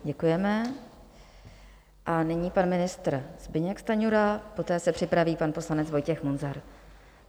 Děkujeme a nyní pan ministr Zbyněk Stanjura, poté se připraví pan poslanec Vojtěch Munzar.